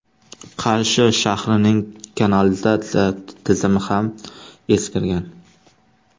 Qarshi shahrining kanalizatsiya tizimi ham eskirgan.